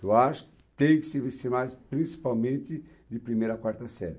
Eu acho que tem que se investir mais principalmente de primeira a quarta série.